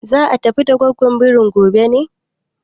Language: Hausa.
Za a tafi da gwaggwon birin gobe ne?